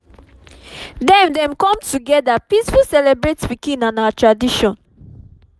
dem dem com together peaceful celebrate pikin and our tradition